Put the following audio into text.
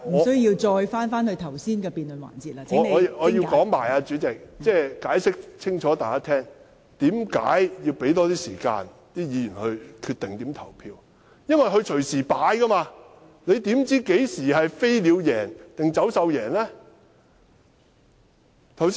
代理主席，我要向大家解釋清楚，為何要讓議員有更多時間決定怎樣投票，因為他們隨時改變，你怎知道何時是飛鳥勝出？